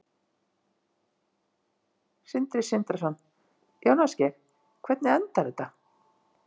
Sindri Sindrason: Jón Ásgeir, hvernig endar þetta?